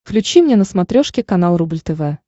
включи мне на смотрешке канал рубль тв